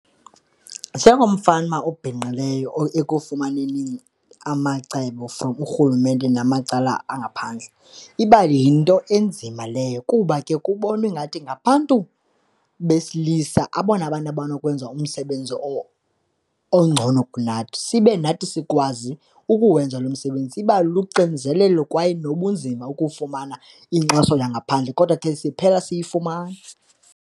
Njengomfama obhinqileyo ekufumaneni amacebo from urhulumente namacala angaphandle, iba yinto enzima leyo kuba ke kubonwa ingathi ngabantu besilisa abona bantu abanokwenza umsebenzi ongcono kunathi. Sibe nathi sikwazi ukuwenza lo msebenzi, iba luxinzelelo kwaye nobunzima ukufumana inkxaso yangaphandle kodwa ke siphela siyifumana.